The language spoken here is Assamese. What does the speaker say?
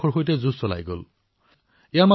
সেই সময়ছোৱাতে তেওঁৰ এক ভাতৃ আৰু ভগ্নীৰো মৃত্যু হল